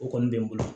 O kɔni bɛ n bolo